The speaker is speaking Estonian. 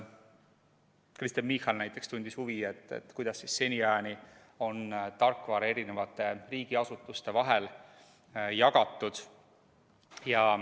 Kristen Michal näiteks tundis huvi, kuidas siis seniajani on tarkvara riigiasutuste vahel jagatud.